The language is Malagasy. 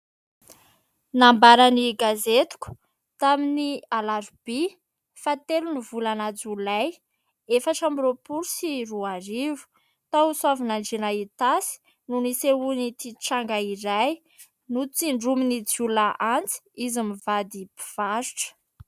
Nambaran'ny gazetiko tamin'ny alarobia, faha telo ny volana jolay efatra ambin'ny roapolo sy roa arivo. Tao Soavinandriana Itasy no nisehoan'ity tranga iray; "notsindromin'ny jiolahy antsy izy mivady mpivarotra".